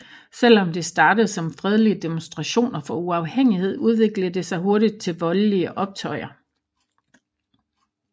Selvom det startede som fredelige demonstrationer for uafhængighed udviklede det sig hurtigt til voldlige optøjer